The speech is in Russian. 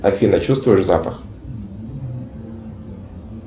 афина чувствуешь запах